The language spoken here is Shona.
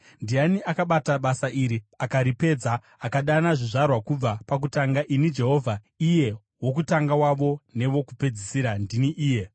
Ndiani akabata basa iri akaripedza, akadana zvizvarwa kubva pakutanga? Ini, Jehovha, iye wokutanga wavo newokupedzisira, ndini iye.”